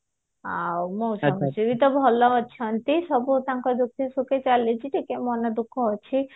ଆଉ ମଉସା ମାଉସୀ ବି ତ ଭଲ ଅଛନ୍ତି ସବୁ ତାଙ୍କ ଦୁଖ ସୁଖ ଚାଲିଛି ଟିକେ ମନ ଦୁଖ ଅଛି